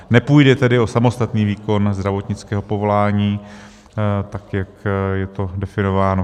Nepůjde tedy o samostatný výkon zdravotnického povolání, tak jak je to definováno.